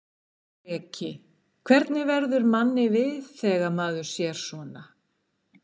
Breki: Hvernig verður manni við þegar maður sér svona?